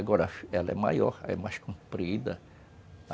Agora, ela é maior, é mais comprida.